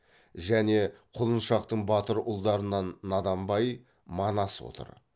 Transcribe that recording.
және құлыншақтың батыр ұлдарынан наданбай манас отыр